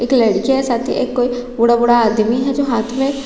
एक लड़की है साथी एक कोई बूढ़ा-बूढ़ा आदमी है जो हाथ में--